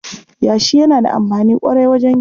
Yashi yana da amfani ƙwarai wajen gini.